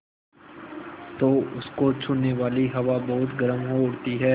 तो उसको छूने वाली हवा बहुत गर्म हो उठती है